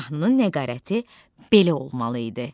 Mahnının nəqarəti belə olmalı idi: